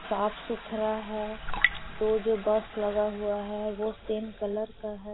साफ सुथरा है दो जो बस लगा हुआ है वो सेम कलर का है।